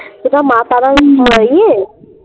বোধয় মা তারার ইয়ে